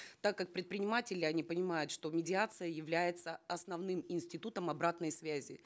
так как предприниматели они понимают что медиация является основным институтом обратной связи